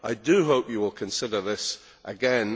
I do hope you will consider this again.